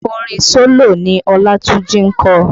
Orin solo ni Olatunji ń kọ